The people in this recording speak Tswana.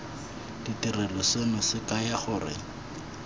ditirelo seno se kaya gore